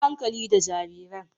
Yi hankali da jarirain.